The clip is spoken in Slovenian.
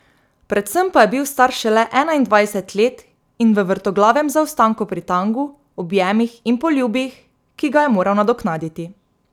Predvsem pa je bil star šele enaindvajset let in v vrtoglavem zaostanku pri tangu, objemih in poljubih, ki ga je moral nadoknaditi.